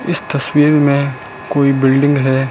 इस तस्वीर में कोई बिल्डिंग हैं।